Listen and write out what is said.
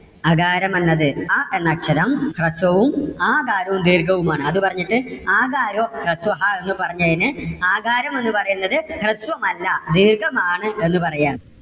അകാരം എന്നത് അ എന്ന അക്ഷരം ഹ്രസ്വവും ആകാരം ദീർഘവും ആണ് അത് പറഞ്ഞിട്ട് ആകാരോ ഹ്രസ്വഹാ എന്ന് പറഞ്ഞതിന് ആകാരം എന്ന് പറയുന്നത് ഹ്രസ്വമല്ല ദീർഘം ആണ് എന്ന് പറയുകയാണ്.